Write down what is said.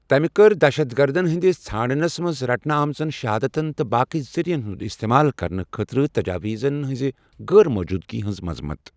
تمہِ کٔر دہشت گردن ہِنٛدِس ژھانٛڈنس منٛزٕ رٹنہٕ آمژن شہادتن تہٕ باقٕے ذٔریعن ہنٛد اِستعمال کرنہٕ خٲطرٕ تجاویٖزن ہٕنٛزِ غٲرموجوٗدگی ہنٛز مضمت۔